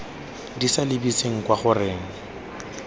di sa lebise kwa goreng